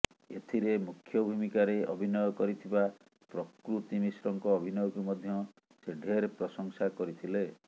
ଏଥିରେ ମୁଖ୍ୟ ଭୂମିକାରେ ଅଭିନୟ କରିଥିବା ପ୍ରକୃତି ମିଶ୍ରଙ୍କ ଅଭିନୟକୁ ମଧ୍ୟ ସେ ଢେର ପ୍ରଶଂସା କରିଥିଲେ